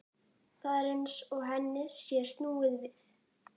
Þeir æsa til styrjalda og hirða gróðann.